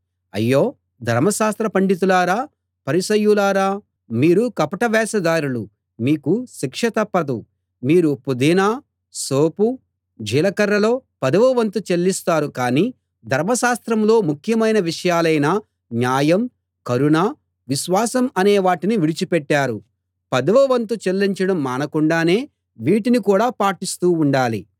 అయ్యో ధర్మశాస్త్ర పండితులారా పరిసయ్యులారా మీరు కపట వేషధారులు మీకు శిక్ష తప్పదు మీరు పుదీనా సోపు జీలకర్రలో పదవ వంతు చెల్లిస్తారు కానీ ధర్మశాస్త్రంలో ముఖ్యమైన విషయాలైన న్యాయం కరుణ విశ్వాసం అనేవాటిని విడిచిపెట్టారు పదవ వంతు చెల్లించడం మానకుండానే వీటిని కూడా పాటిస్తూ ఉండాలి